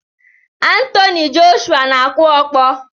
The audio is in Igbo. Anthony Joshua na-akụ ọkpọ